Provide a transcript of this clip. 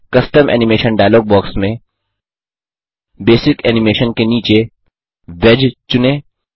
custom animation dialog box में basic animation के नीचे वेज चुनें